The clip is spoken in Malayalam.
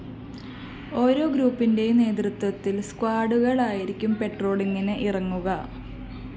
ഓരോ ഗ്രൂപ്പിന്റെയും നേതൃത്വത്തില്‍ സ്‌കോഡുകളായിരിക്കും പെട്രോളിങിന് ഇറങ്ങുക